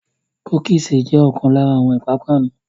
Cookies jẹ̀ ọkàn lára àwọn ìpápánu.